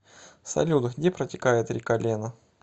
салют где протекает река лена